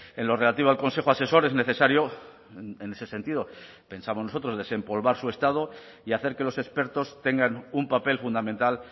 en lo relativo al consejo asesor es necesario en ese sentido pensamos nosotros desempolvar su estado y hacer que los expertos tengan un papel fundamental